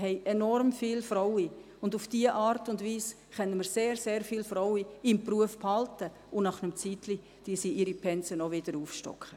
Wir haben enorm viele Frauen, und auf diese Art und Weise können wir sehr, sehr viele Frauen im Beruf behalten, und nach einer Weile stocken sie ihre Pensen auch wieder auf.